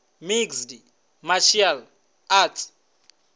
mixed martial arts